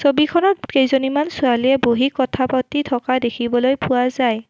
ছবিখনত কেইজনীমান ছোৱালীয়ে বহি কথা পাতি থকা দেখিবলৈ পোৱা যায়।